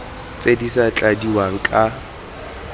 tse di sa tladiwang ka